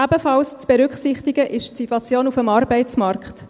Ebenfalls zu berücksichtigen ist die Situation auf dem Arbeitsmarkt.